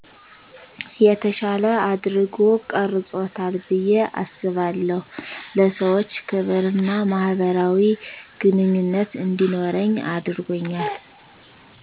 የተሻለ አድርጎ ቀርፆታል ብየ አስባለሁ ለሰዎች ክብርና ማህበራዊ ግንኙነት እንዲኖረኝ አድርጎኛል